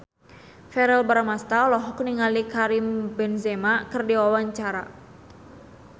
Verrell Bramastra olohok ningali Karim Benzema keur diwawancara